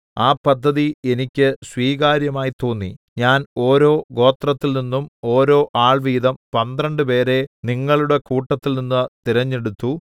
ആ പദ്ധതി എനിക്ക് സ്വീകാര്യമായി തോന്നി ഞാൻ ഓരോ ഗോത്രത്തിൽനിന്നും ഓരോ ആൾ വീതം പന്ത്രണ്ടുപേരെ നിങ്ങളുടെ കൂട്ടത്തിൽനിന്ന് തിരഞ്ഞെടുത്തു